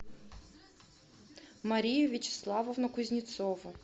марию вячеславовну кузнецову